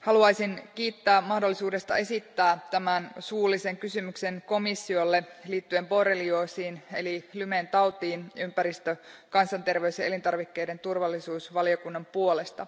haluaisin kiittää mahdollisuudesta esittää tämän suullisen kysymyksen komissiolle liittyen borrelioosiin eli Lymen tautiin ympäristön, kansanterveyden ja elintarvikkeiden turvallisuuden valiokunnan puolesta.